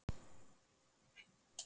Þú verður að fara í svörtu úlpuna.